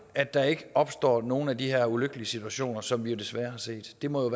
at der ikke opstår nogen af de her ulykkelige situationer som vi desværre har set det må